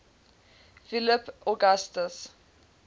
philip augustus